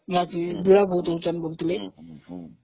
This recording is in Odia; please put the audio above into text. ସେଠି ଭିଡ ବହୁତ ହଉଛନ୍ତି ହଁ